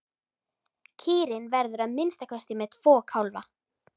Kýrin verður að minnsta kosti með tvo kálfa.